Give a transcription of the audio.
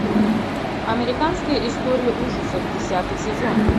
американская история ужасов десятый сезон